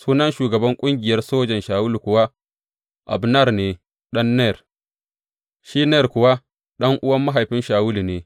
Sunan shugaban ƙungiyar sojan Shawulu kuwa Abner ne ɗan Ner, shi Ner kuwa ɗan’uwan mahaifin Shawulu ne.